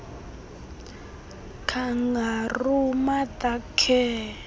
kangaroo mother care